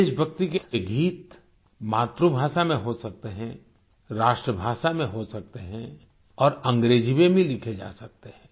देशभक्ति के ये गीत मातृभाषा में हो सकते हैं राष्ट्रभाषा में हो सकते हैं और अंग्रेजी में भी लिखे जा सकते हैं